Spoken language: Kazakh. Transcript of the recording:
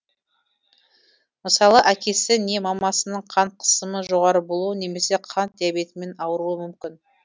мысалы әкесі не мамасының қан қысымы жоғары болуы немесе қант диабетімен ауруы мүмкін